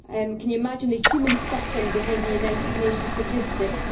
Can you imagine the human suffering behind the United Nations statistics?